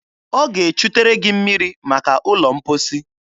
Ọ ga-echutere gị mmiri maka ụlọ mposi.